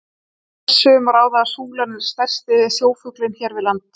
Af þessu má ráða að súlan er stærsti sjófuglinn hér við land.